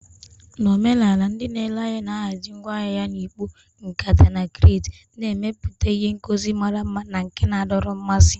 Na omenala, ndị na-ere ahịa na-ahazi ngwa ahịa ha na ikpo, nkata, na crates, na-emepụta ihe ngosi mara mma na nke na-adọrọ mmasị.